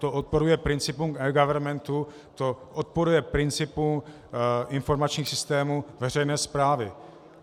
To odporuje principům eGovernmentu, to odporuje principům informačních systémů veřejné správy.